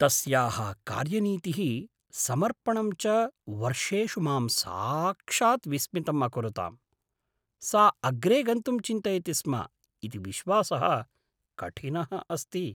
तस्याः कार्यनीतिः समर्पणं च वर्षेषु मां साक्षात् विस्मितम् अकुरुताम् ; सा अग्रे गन्तुं चिन्तयति स्म इति विश्वासः कठिनः अस्ति।